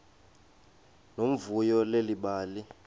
nomvuyo leli bali